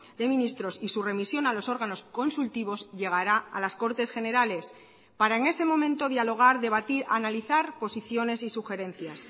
de ministros y su remisión a los órganos consultivos llegará a las cortes generales para en ese momento dialogar debatir analizar posiciones y sugerencias